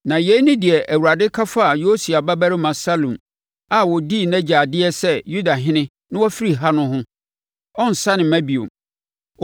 Na yei ne deɛ Awurade ka faa Yosia babarima Salum a ɔdii nʼagya adeɛ sɛ Yudahene na wafiri ha no ho: “Ɔrensane mma bio.